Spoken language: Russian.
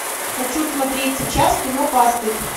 хочу смотреть сейчас кино пастырь